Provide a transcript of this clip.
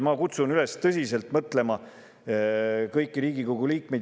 Ma kutsun kõiki Riigikogu liikmeid üles tõsiselt sellele mõtlema.